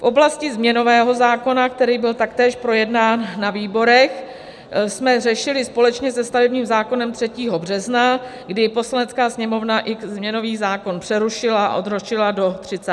V oblasti změnového zákona, který byl taktéž projednán na výborech, jsme řešili společně se stavebním zákonem 3. března, kdy Poslanecká sněmovna i změnový zákon přerušila a odročila do 30. března.